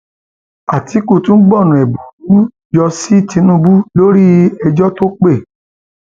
àtìkù tún gbọnà ẹbùrú gbọnà ẹbùrú yọ sí tìǹbù lórí ẹjọ tó pé